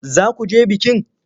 Za ku je bikin?